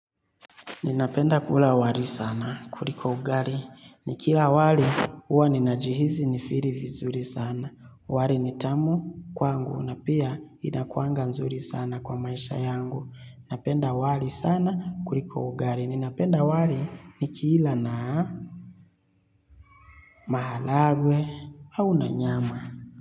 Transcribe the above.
Ninapenda kula wali sana kuliko ugali. Ni kila wali huwa ninajihisi nifiri vizuri sana. Wali nitamu kwangu na pia inakuanga nzuri sana kwa maisha yangu. Napenda wali sana kuliko ugali. Ninapenda wali nikila na maharagwe au na nyama.